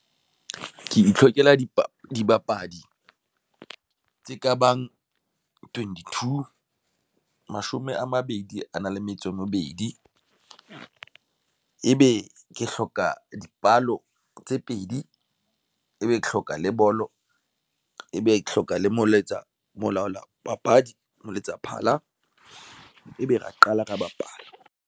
Ke itlhokela dibapadi tse ka bang twenty two, mashome a mabedi a na le metso e mebedi. Ebe ke hloka dipalo tse pedi ebe ke hloka le bolo e be ke hloka le molaetsa molaola papadi molaetsa phala, ebe re qala ka ho bapala.